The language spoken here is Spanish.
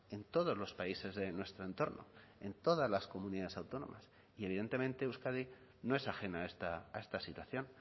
en todos los países de nuestro entorno en todas las comunidades autónomas y evidentemente euskadi no es ajena a esta situación